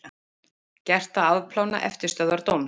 Gert að afplána eftirstöðvar dóms